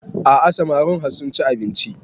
A'a samarin har sun ci abinci